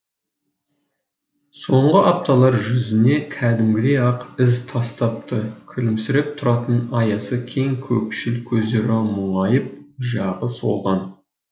соңғы апталар жүзіне кәдімгідей ақ із тастапты күлімсіреп тұратын аясы кең көкшіл көздері мұңайып жағы солған